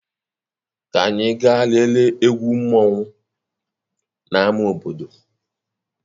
Ka anyị gaa lelee egwu mmanwu na ámá obodo.